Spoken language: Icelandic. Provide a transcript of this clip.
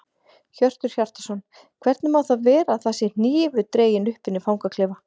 Hjörtur Hjartarson: Hvernig má það vera að það sé hnífur dreginn upp inni í fangaklefa?